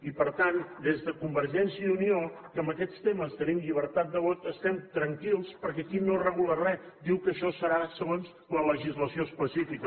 i per tant des de convergència i unió que en aquests temes tenim llibertat de vot estem tranquils perquè aquí no es regula re diu que això serà segons la legislació específica